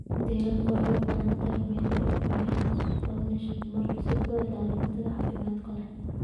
Shinnidu waxay u baahan tahay meelo ay ka buuxaan dhirta pollinating mar walba si ay u ilaaliso cunto caafimaad leh.